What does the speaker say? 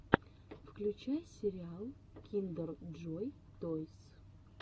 включай сериал киндер джой тойс